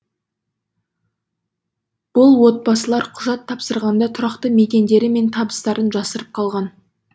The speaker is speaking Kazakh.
бұл отбасылар құжат тапсырғанда тұрақты мекендері мен табыстарын жасырып қалған